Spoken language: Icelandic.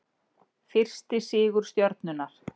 Fyrsti sigur Stjörnunnar